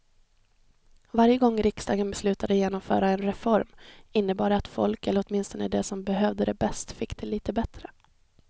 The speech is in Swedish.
Varje gång riksdagen beslutade genomföra en reform innebar det att folk, eller åtminstone de som behövde det bäst, fick det lite bättre.